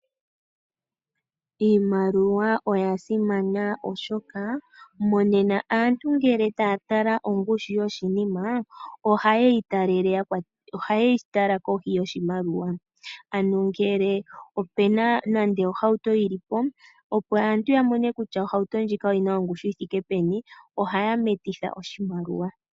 Iimaliwa oya simana oshoka monena aantu ngele taya tala ongushu yoshinima ohaye yi tala kohi yoshimaliwa ano ngele opu na nande ohauto yi li po, opo aantu ya mone kutya ohauto ndjika oyi na ongushu yi thike peni ohaya metitha oshimaliwa.